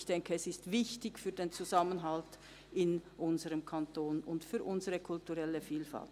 Ich denke, es ist wichtig für den Zusammenhalt in unserem Kanton und unsere kulturelle Vielfalt.